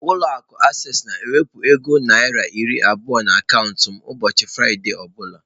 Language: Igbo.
Ụlọ akụ acesịị na-ewepụ ego naira iri abụọ n'akaụntụ m ụbọchị Fraịde ọ bụla.